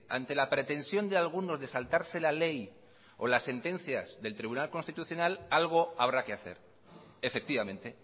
ante la pretensión de algunos de saltarse la ley o la sentencia del tribunal constitucional algo habrá que hacer efectivamente